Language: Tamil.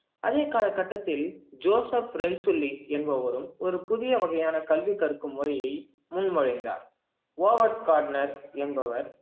அதே காலகட்டத்தில் ஜோசப் என்பவரும் ஒரு புதிய வகையான கல்வி கற்கும் முறைய முன்மொழிந்தார் என்பவர்